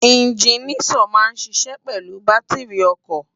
Iginiṣòn má n ṣiṣè pèlú bàtirí òkò